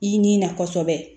I ni na kɔsɛbɛ